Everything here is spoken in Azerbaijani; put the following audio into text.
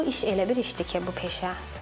Bu iş elə bir işdir ki, bu peşə.